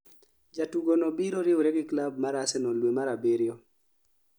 Jatugo no biro riwre gi klab mar Arsenal due mar abiriyo